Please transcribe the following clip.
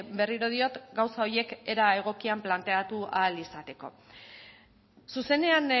berriro diot gauza horiek era egokian planteatu ahal izateko zuzenean